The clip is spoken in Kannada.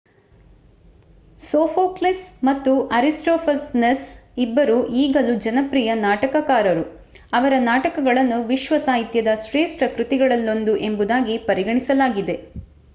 ಸೋಫೋಕ್ಲಿಸ್ ಮತ್ತು ಅರಿಸ್ಟೋಫನೆಸ್ ಇಬ್ಬರೂ ಈಗಲೂ ಜನಪ್ರಿಯ ನಾಟಕಕಾರರು ಅವರ ನಾಟಕಗಳನ್ನು ವಿಶ್ವ ಸಾಹಿತ್ಯದ ಶ್ರೇಷ್ಠ ಕೃತಿಗಳಲ್ಲೊಂದು ಎಂಬುದಾಗಿ ಪರಿಗಣಿಸಲಾಗಿದೆ